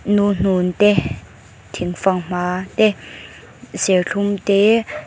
nuhnun te thing fanghma serthlum te--